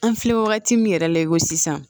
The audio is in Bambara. An filɛ wagati min yɛrɛ la i ko sisan